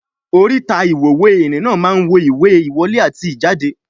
Oríta ìwòwé ìrìn-nà máa ń wo ìwé ìwọlé àti ìjáde